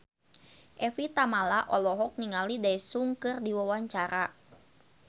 Evie Tamala olohok ningali Daesung keur diwawancara